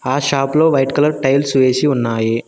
ఆ షాప్ లో white colour tiles వేసి ఉన్నాయి.